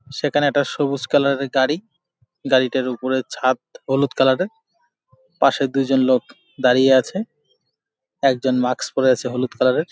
সেখানে একটা সবুজ কালার এর গাড়ি। গাড়িটার উপরের ছাদ হলুদ কালার এর। পশে দুইজন লোক দাড়িয়ে আছে। একজন মাস্ক পরে আছে হলুদ কালার এর।